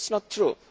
This is not true.